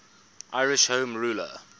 irish home rule